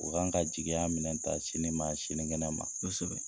U kan ka jigiya minɛ ta sini ma senigɛnɛ ma, kosɛbɛ.